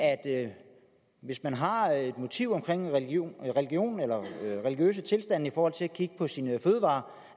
at hvis man har et motiv omkring religion religion eller religiøse tilstande i forhold til at kigge på sine fødevarer